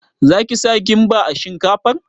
Za ki sa kimba a shinkafar?